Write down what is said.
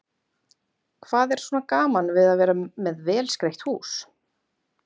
Hvað er svona gaman við að vera með vel skreytt hús?